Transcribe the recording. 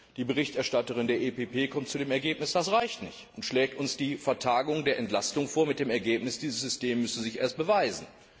Die Berichterstatterin der EPP kommt zu dem Ergebnis, dass das nicht reicht, und schlägt uns die Vertagung der Entlastung vor, mit der Begründung, dieses System müsse sich erst beweisen.